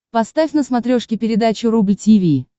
поставь на смотрешке передачу рубль ти ви